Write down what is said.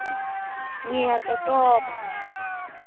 ngiyatotoba